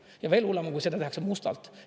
Ja veel hullem on, kui seda tehakse mustalt.